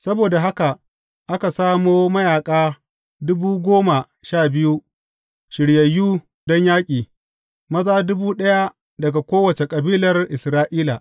Saboda haka aka samo mayaƙa dubu goma sha biyu shiryayyu don yaƙi, maza dubu ɗaya daga kowace kabilar Isra’ila.